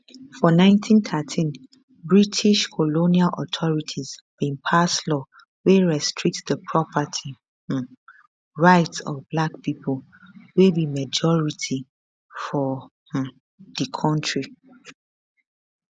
for 1913 british colonial authorities bin pass law wey restrict di property um rights of black pipo wey be majority for um di kontri